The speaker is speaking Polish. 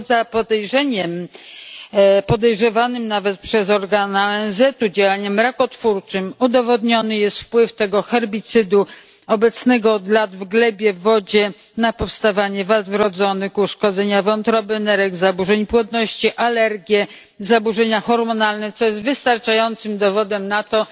Poza podejrzewanym nawet przez organa ONZ u działaniem rakotwórczym, udowodniony jest wpływ tego herbicydu obecnego od lat w glebie, w wodzie na powstawanie wad wrodzonych, uszkodzeń wątroby, nerek, zaburzeń płodności, alergii, zaburzeń hormonalnych co jest wystarczającym dowodem na to,